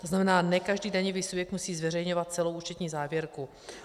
To znamená, ne každý daňový subjekt musí zveřejňovat celou účetní závěrku.